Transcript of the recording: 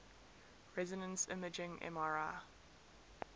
resonance imaging mri